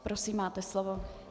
Prosím, máte slovo.